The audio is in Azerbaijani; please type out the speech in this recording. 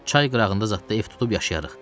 Çay qırağında zad da ev tutub yaşayarıq.